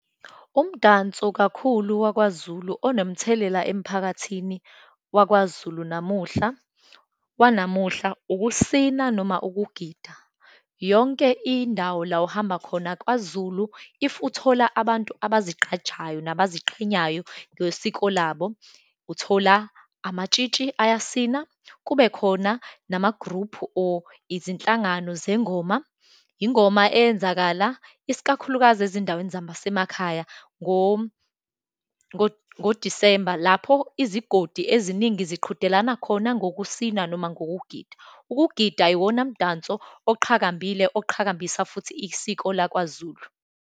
Umdanso kakhulu wakwaZulu onomthelela emphakathini wakwaZulu namuhla, wanamuhla, ukusina noma ukugida. Yonke indawo la uhamba khona kwaZulu, if uthola abantu abazigqajayo nabaziqhenyayo ngesiko labo, uthola amatshitshi ayasina, kube khona namagruphu or izinhlangano zengoma. Ingoma eyenzakala, isikakhulukazi ezindaweni zasemakhaya ngoDisemba lapho izigodi eziningi ziqhudelana khona ngokusina, noma ngokugida. Ukugida iwona mdanso oqhakambile, oqhakambisa futhi isiko lakwaZulu.